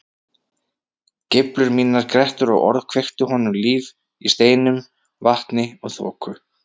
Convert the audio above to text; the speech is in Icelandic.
Geiflur mínar, grettur og orð kveiktu honum líf í steinum, vatni og þoku.